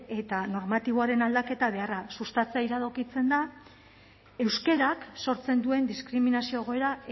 eta normatiboaren aldaketa beharra sustatzea iradokitzen da euskarak sortzen duen diskriminazio egoera